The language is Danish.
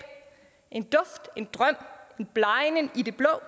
en duft en drøm en blegnen i det blå